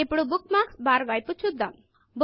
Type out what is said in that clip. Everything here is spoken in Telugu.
ఇప్పుడు బుక్మార్క్స్ బుక్ మార్క్స్ బార్ వైపు చూద్దాం